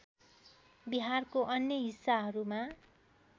बिहारको अन्य हिस्साहरूमा